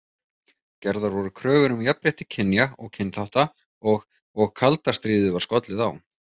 Gerðar voru kröfur um jafnrétti kynja og kynþátta og og kalda stríðið var skollið á.